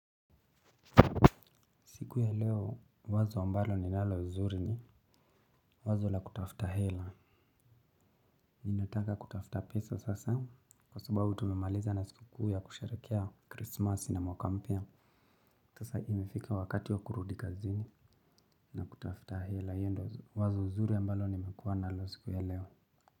Siku ya leo wazo ambalo ninalo nzuri ni wazo la kutafuta hela. Ninataka kutafuta pesa sasa kwa sababu tumemaliza na siku kuu ya kusherekea Christmas na mwaka mpya. Sasa imefika wakati wa kurudi kazini na kutafuta hela. Hio ndo wazo zuri ambalo nimekuwa nalo siku ya leo.